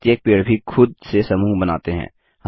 प्रत्येक पेड़ भी खुद से समूह बनाते हैं